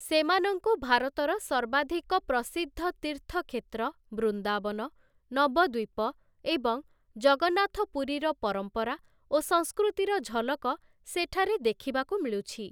ସେମାନଙ୍କୁ ଭାରତର ସର୍ବାଧିକ ପ୍ରସିଦ୍ଧ ତୀର୍ଥକ୍ଷେତ୍ର ବୃନ୍ଦାବନ, ନବଦ୍ୱୀପ ଏବଂ ଜଗନ୍ନାଥପୁରୀର ପରମ୍ପରା ଓ ସଂସ୍କୃତିର ଝଲକ ସେଠାରେ ଦେଖିବାକୁ ମିଳୁଛି ।